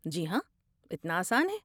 جی ہاں، اتنا آسان ہے۔